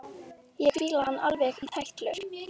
Ég fíla hann alveg í tætlur!